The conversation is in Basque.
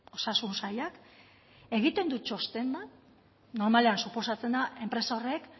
osasun sailak egiten du txosten bat normalean suposatzen da enpresa horrek